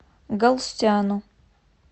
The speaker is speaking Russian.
галстяну